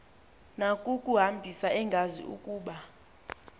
nakukuhambisa engazi ukuba